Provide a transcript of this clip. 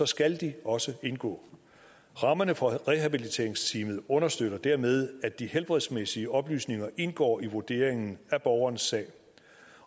skal de også indgå rammerne for rehabiliteringsteamet understøtter dermed at de helbredsmæssige oplysninger indgår i vurderingen af borgerens sag